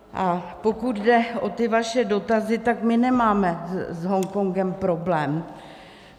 A pokud jde o ty vaše dotazy, tak my nemáme s Hongkongem problém.